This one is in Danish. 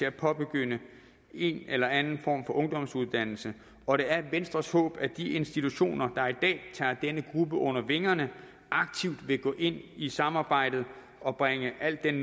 at påbegynde en eller anden form for ungdomsuddannelse og det er venstres håb at de institutioner der i dag tager denne gruppe under vingerne aktivt vil gå ind i samarbejdet og bringe al den